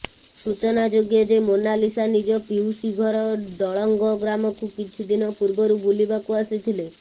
ସୂଚନାଯୋଗ୍ୟ ଯେ ମୋନାଲିସା ନିଜ ପିଉସୀ ଘର ଡଳଙ୍ଗ ଗ୍ରାମକୁ କିଛି ଦିନ ପୂର୍ବରୁ ବୁଲିବାକୁ ଆସିଥିଲେ